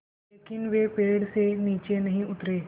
लेकिन वे पेड़ से नीचे नहीं उतरे